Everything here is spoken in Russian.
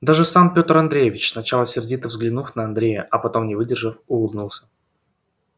даже сам пётр андреевич сначала сердито взглянув на андрея а потом не выдержав улыбнулся